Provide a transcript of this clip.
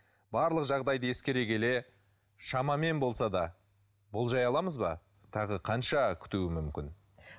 барлық жағдайды ескере келе шамамен болса да болжай аламыз ба тағы қанша күтуі мүмкін